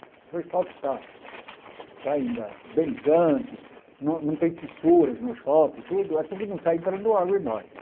Se o asfalto está ainda bem ligante, não não tem fissuras no asfalto e tudo, é porque não está entrando água embaixo.